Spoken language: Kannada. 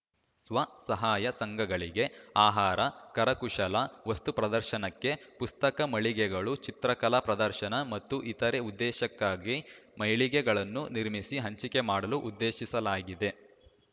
ಸ್ವಸಹಾಯ ಸಂಘಗಳಿಗೆ ಆಹಾರ ಕರಕುಶಲ ವಸ್ತುಪ್ರದರ್ಶನಕ್ಕೆ ಪುಸ್ತಕ ಮಳಿಗೆಗಳು ಚಿತ್ರಕಲಾ ಪ್ರದರ್ಶನ ಮತ್ತು ಇತರೆ ಉದ್ದೇಶಕ್ಕಾಗಿ ಮಳಿಗೆಗಳನ್ನು ನಿರ್ಮಿಸಿ ಹಂಚಿಕೆ ಮಾಡಲು ಉದ್ದೇಶಿಸಲಾಗಿದೆ